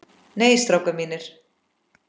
Nei, strákar mínir.